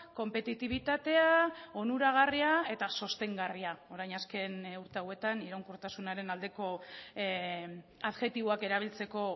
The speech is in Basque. konpetitibitatea onuragarria eta sostengarria orain azken urte hauetan iraunkortasunaren aldeko adjektiboak erabiltzeko